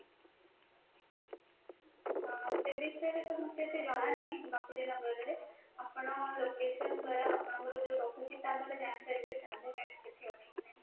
ହଁ ସେମିତି ରେ ତ ମୋତେ କିଛି ଜଣା ନାହିଁ bapuji nagar ରେ ଆପଣ location ଦ୍ଵାରା ଆପଣଙ୍କର ଯୋଉ ରହୁଛି ତାହା ମଧ୍ୟ ଜାଣିପାରିବେ ସେଠି ଅଛି କି ନାହିଁ